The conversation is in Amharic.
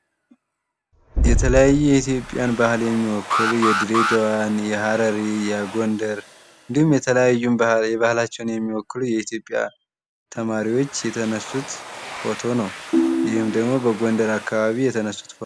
የተለያዩ የኢትዮጵያን ባህልን የሚወክሉ የድሬዳዋን፣ የሃረሪን፣ የጎንደር እንዲሁም የተለያዩ የባህላችንን የሚወክሉ የኢትዮጵያ ተማሪዎች የተነሱት ፎቶ ነው። ይህም ደሞ በጎንደር አካባቢ የተነሱት ፎቶ ነው።